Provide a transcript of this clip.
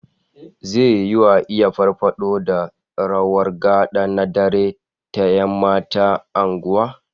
Zai yiwu a iya farfado da rawar gad'a na dare ta 'yan mata a unguwa